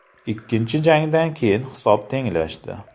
Ikkinchi jangdan keyin hisob tenglashdi.